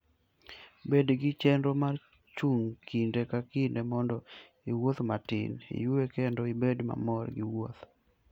Bed gi chenro mar chung' kinde ka kinde mondo iwuoth matin, iyue, kendo ibed mamor gi wuoth.